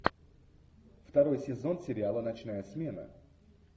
второй сезон сериала ночная смена